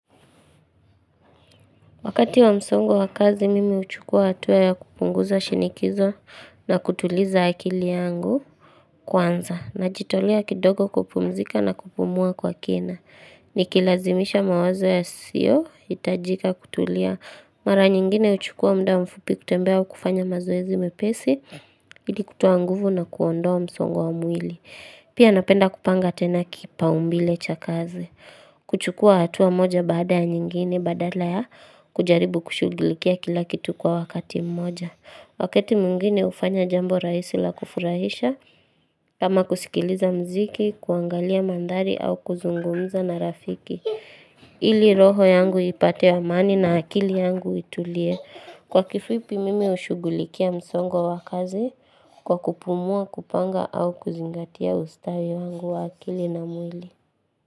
Wakati wa msongo wa kazi, mimi uchukua atuwa ya kupunguza shinikizo na kutuliza akili yangu kwanza. Najitolia kidogo kupumzika na kupumua kwa kena. Nikilazimisha mawazo yasiyo, itajika kutulia. Mara nyingine uchukua mda mfupi kutembea ukufanya mazoezi mepesi, hidi kutoa nguvu na kuondoa msongo wa mwili. Pia napenda kupanga tena kipaumbile cha kazi kuchukua hatua moja baada ya nyingine badala ya kujaribu kushugulikia kila kitu kwa wakati mmoja Wakati mwingine ufanya jambo raihisi la kufurahisha kama kusikiliza mziki, kuangalia mandhari au kuzungumza na rafiki ili roho yangu ipate wa mani na akili yangu itulie Kwa kifupi mimi ushugulikia msongo wa kazi kwa kupumua kupanga au kuzingatia ustawi wangu wa akili na mwili.